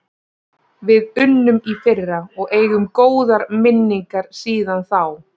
Við unnum í fyrra og eigum góðar minningar síðan þá.